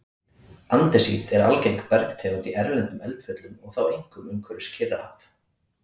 Andesít er algeng bergtegund í erlendum eldfjöllum og þá einkum umhverfis Kyrrahaf.